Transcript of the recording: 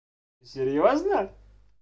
серьёзно